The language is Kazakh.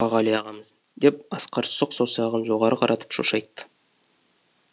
мұқағали ағамыз деп асқар сұқ саусағын жоғары қаратып шошайтты